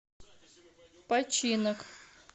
починок